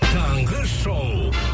таңғы шоу